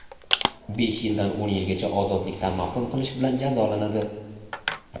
besh yildan o‘n yilgacha ozodlikdan mahrum qilish bilan jazolanadi.